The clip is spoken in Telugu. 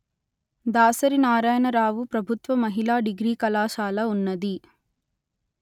దాసరి నారాయణరావు ప్రభుత్వ మహిళా డిగ్రీ కళాశాల ఉన్నది